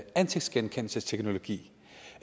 ansigtsgenkendelsesteknologi